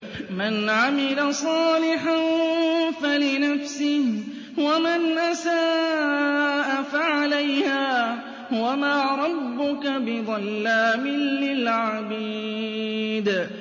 مَّنْ عَمِلَ صَالِحًا فَلِنَفْسِهِ ۖ وَمَنْ أَسَاءَ فَعَلَيْهَا ۗ وَمَا رَبُّكَ بِظَلَّامٍ لِّلْعَبِيدِ